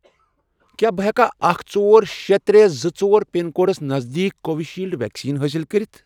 کیٛاہ بہٕ ہیٚکیا اکھ، ژور، شے، ترے، زٕ، ژور، پِن کوڈس نزدیٖک کووِشیٖلڈ ویکسیٖن حٲصِل کٔرِتھ؟